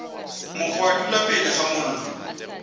mokgwa dula pele ga mollo